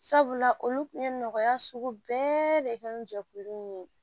Sabula olu kun ye nɔgɔya sugu bɛɛ de kɛ ni jɛkulu nin ye